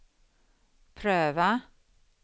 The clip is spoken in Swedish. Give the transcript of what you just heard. pröva